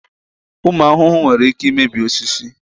Ụmụ ahụhụ nwere ike imebi osisi.